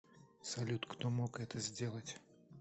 салют кто мог это сделать